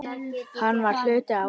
Hann var hluti af okkur.